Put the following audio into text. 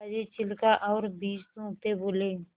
दादाजी छिलका और बीज थूकते बोले